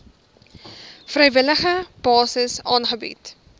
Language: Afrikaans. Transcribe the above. vrywillige basis aangebied